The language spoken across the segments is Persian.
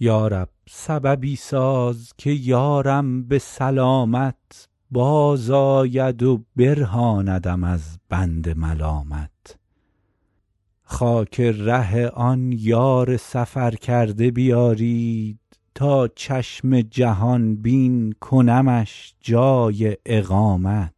یا رب سببی ساز که یارم به سلامت بازآید و برهاندم از بند ملامت خاک ره آن یار سفرکرده بیارید تا چشم جهان بین کنمش جای اقامت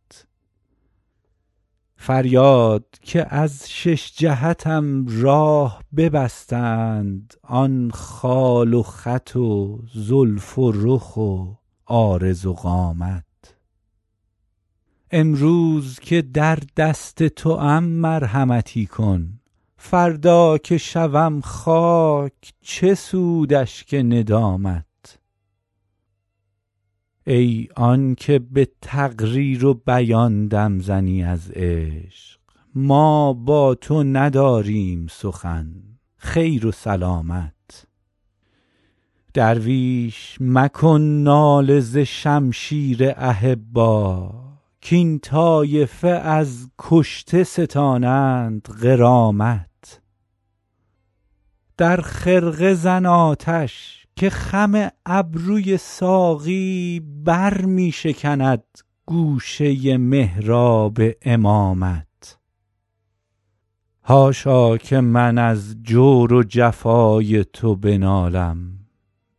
فریاد که از شش جهتم راه ببستند آن خال و خط و زلف و رخ و عارض و قامت امروز که در دست توام مرحمتی کن فردا که شوم خاک چه سود اشک ندامت ای آن که به تقریر و بیان دم زنی از عشق ما با تو نداریم سخن خیر و سلامت درویش مکن ناله ز شمشیر احبا کاین طایفه از کشته ستانند غرامت در خرقه زن آتش که خم ابروی ساقی بر می شکند گوشه محراب امامت حاشا که من از جور و جفای تو بنالم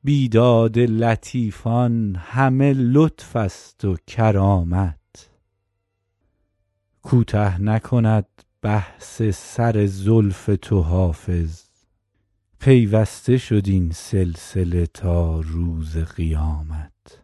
بیداد لطیفان همه لطف است و کرامت کوته نکند بحث سر زلف تو حافظ پیوسته شد این سلسله تا روز قیامت